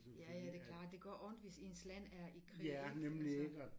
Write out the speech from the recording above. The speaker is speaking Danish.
Ja ja det klart det gør ondt hvis ens land er i krig ikke altså